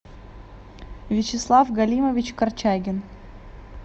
вячеслав галимович корчагин